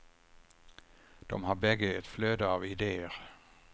De har bägge ett flöde av ideer.